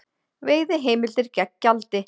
Veiðiheimildir gegn gjaldi